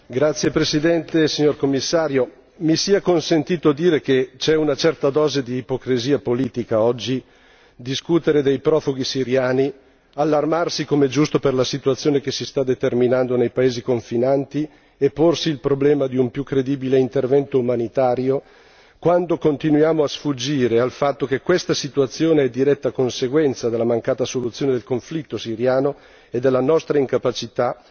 Signora Presidente, onorevoli colleghi, signor Commissario, mi sia consentito dire che c'è una certa dose di ipocrisia politica oggi nel discutere dei profughi siriani, allarmarsi come è giusto per la situazione che si sta determinando nei paesi confinanti e porsi il problema di un più credibile intervento umanitario, quando continuiamo a sfuggire al fatto che questa situazione è diretta conseguenza della mancata soluzione del conflitto siriano e della nostra incapacità